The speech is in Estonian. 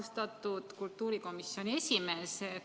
Austatud kultuurikomisjoni esimees!